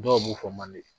Dɔw b'u fɔ manden